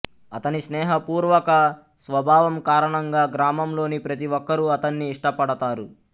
అతని స్నేహపూర్వక స్వభావం కారణంగా గ్రామంలోని ప్రతి ఒక్కరూ అతన్ని ఇష్టపడతారు